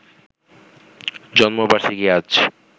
জন্মবার্ষিকী আজ